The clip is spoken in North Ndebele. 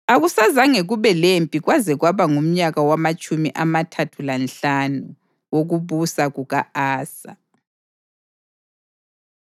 Akusazange kube lempi kwaze kwaba ngumnyaka wamatshumi amathathu lanhlanu wokubusa kuka-Asa.